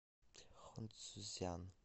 хунцзян